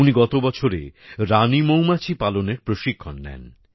উনি গত বছরে রানি মৌমাছি পালনের প্রশিক্ষণ নেন